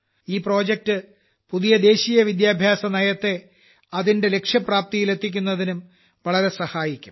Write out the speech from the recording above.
ഈ പ്രൊജക്ട് പുതിയ ദേശീയ വിദ്യാഭ്യാസനയത്തെ അതിന്റെ ലക്ഷ്യപ്രാപ്തിയിലെത്തിക്കുന്നതിനും വളരെ സഹായിക്കും